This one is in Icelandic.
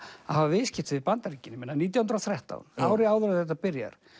að hafa viðskipti við Bandaríkin ég meina nítján hundruð og þrettán ári áður en þetta byrjar